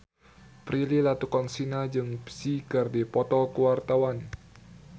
Prilly Latuconsina jeung Psy keur dipoto ku wartawan